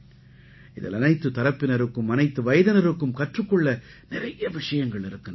இதில் அனைத்துத் தரப்பினருக்கும் அனைத்து வயதினருக்கும் கற்றுக் கொள்ள நிறைய விஷயங்கள் இருக்கின்றன